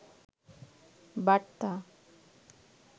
বার্তা